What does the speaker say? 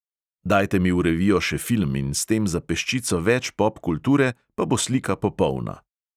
Dajte mi v revijo še film in s tem za peščico več popkulture, pa bo slika popolna!